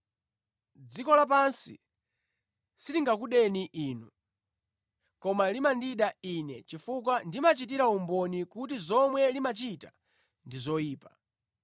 Dziko lapansi silingakudeni inu, koma limandida Ine chifukwa Ine ndimachitira umboni kuti zomwe limachita ndi zoyipa.